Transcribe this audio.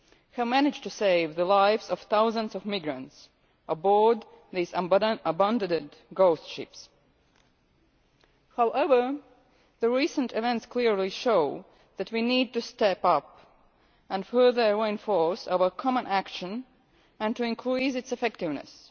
have managed to save the lives of thousands of migrants aboard these abandoned ghost ships. However, recent events clearly show that we need to step up and further reinforce our common action and to increase its effectiveness.